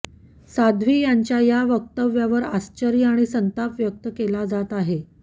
साध्वी यांच्या या वक्तव्यावर आश्चर्य आणि संताप व्यक्त केला जात आहे